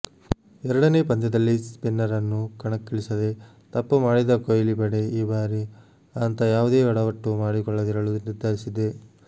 ಎರಡನೇ ಪಂದ್ಯದಲ್ಲಿ ಸ್ಪಿನ್ನರನ್ನು ಕಣಕ್ಕಿಳಿಸದೆ ತಪ್ಪು ಮಾಡಿದ್ದ ಕೊಹ್ಲಿ ಪಡೆ ಈ ಬಾರಿ ಅಂಥ ಯಾವುದೇ ಯಡವಟ್ಟು ಮಾಡಿಕೊಳ್ಳದಿರಲು ನಿರ್ಧರಿಸಿದೆ